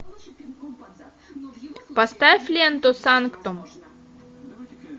поставь ленту санктум